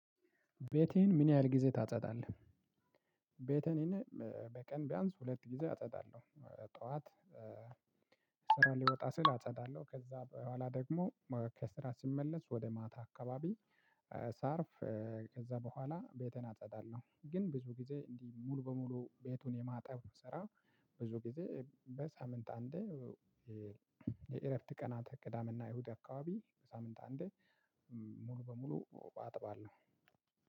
ቤቴን ምን ያህል ጊዜ ታጸዳለህ? ቤቴን በቀን ቢያንስ ሁለት ጊዜ አጸዳለሁ ጠዋት። ስራ ልወጣ ስል አጸዳለሁ ከዛ በኋላ ደግሞ። ከስራ ስመለስ ወደ ማታ አካባቢ ሳርፍ። ከዛ በኋላ ቤቴን አጸዳለሁ ግን ብዙ ጊዜ እንዲህ ሙሉ በሙሉ ቤቱን የማጣብ ስራ። ብዙ ግዜ በሳምንት አንዴ። የእረፍት ቀናት ቅዳሜና እሁድ አካባቢ በሳምንት አንዴ። ሙሉ በሙሉ አጥባለሁ።